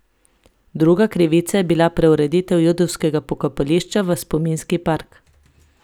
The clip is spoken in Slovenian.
Druga krivica je bila preureditev judovskega pokopališča v spominski park.